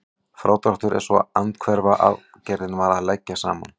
Frádráttur er svo andhverfa aðgerðin við að leggja saman.